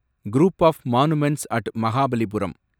group of monuments at Mahabalipuram